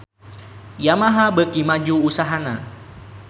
Yamaha beuki maju usahana